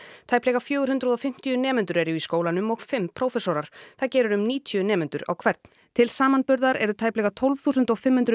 tæplega fjögur hundruð og fimmtíu nemendur eru í skólanum og fimm prófessorar það gerir um níutíu nemendur á hvern til samanburðar eru tæplega tólf þúsund og fimm hundruð